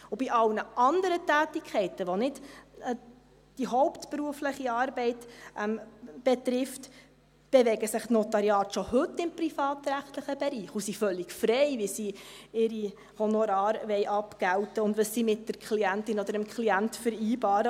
Bei allen anderen Tätigkeiten, die nicht die hauptberufliche Arbeit betreffen, bewegen sich die Notariate schon heute im privatrechtlichen Bereich und sind völlig frei, wie sie ihre Honorare abgelten wollen und was sie mit der Klientin oder dem Klienten vereinbaren.